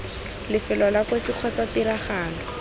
lefelo la kotsi kgotsa tiragalo